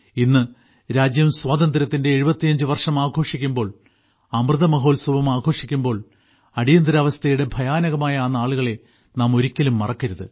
ഇന്ന് രാജ്യം സ്വാതന്ത്ര്യത്തിന്റെ 75 വർഷം ആഘോഷിക്കുമ്പോൾ അമൃത മഹോത്സവം ആഘോഷിക്കുമ്പോൾ അടിയന്തരാവസ്ഥയുടെ ഭയാനകമായ ആ നാളുകളെ നാം ഒരിക്കലും മറക്കരുത്